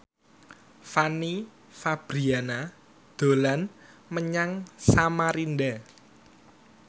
Fanny Fabriana dolan menyang Samarinda